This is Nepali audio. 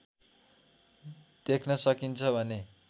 देख्न सकिन्छ भने